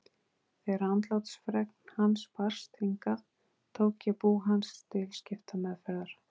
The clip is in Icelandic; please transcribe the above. Þegar andlátsfregn hans barst hingað tók ég bú hans til skiptameðferðar.